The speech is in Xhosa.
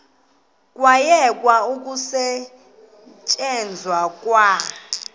kwayekwa ukusetyenzwa kwa